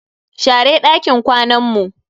Share dakin kwanan mu.